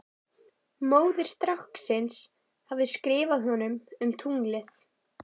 Móðir stráksins hafði skrifað honum um tunglið.